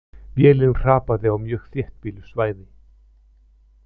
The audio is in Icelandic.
Vélin hrapaði á mjög þéttbýlu svæði